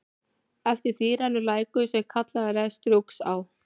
Eftir því rennur lækur, sem kallaður er Strjúgsá.